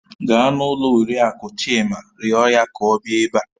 Gaa n'ụlọ Oriakụ Chima rịọ ya ka ọ bịa ebe a